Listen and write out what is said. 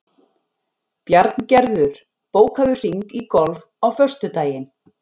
Bjarngerður, bókaðu hring í golf á föstudaginn.